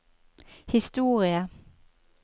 historie